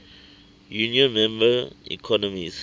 union member economies